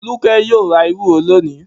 Folúkẹ́ yóò ra ewúro lónìí.